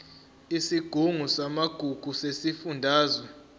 isigungu samagugu sesifundazwe